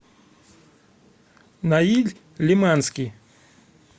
наиль лиманский